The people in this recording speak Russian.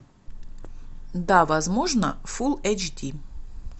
да возможно фулл эйч ди